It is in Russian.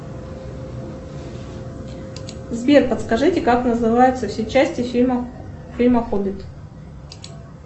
сбер подскажите как называются все части фильма фильма хоббит